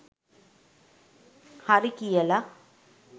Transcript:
හරි කියල